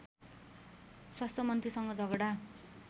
स्वास्थ्यमन्त्रीसँग झगडा